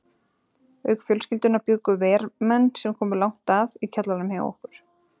Auk fjölskyldunnar bjuggu vermenn, sem komu langt að, í kjallaranum hjá okkur.